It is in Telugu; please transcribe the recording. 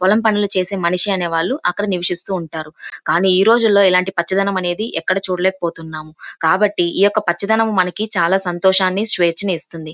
పొలం చేసే మనిషి అనేవాళ్ళు అక్కడ నివిసిస్తుంటారు కానీ ఈరోజుల్లో అలంటి పచ్చదనం అనేది ఎక్కడ చూడలేకపోతున్నాం. కాబట్టి ఈ పచ్చదనం మనకు చాల సంతోషాన్ని స్వేచ్ఛను ఇస్తుంది.